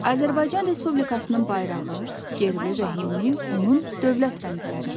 Azərbaycan Respublikasının bayrağı, gerbi və himni onun dövlət rəmzləridir.